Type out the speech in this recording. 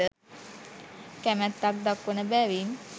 කැමැත්තක් දක්වන බැවින්